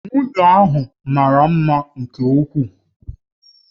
Nwunye ahụ mara mma nke ukwuu